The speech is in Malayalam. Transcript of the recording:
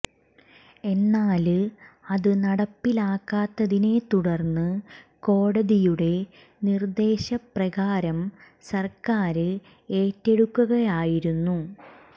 എന്നാല് അത് നടപ്പിലാക്കാത്തതിനെ തുടര്ന്ന് കോടതിയുടെ നിര്ദേശ പ്രകാരം സര്ക്കാര് ഏറ്റെടുക്കുകയായിരുന്നു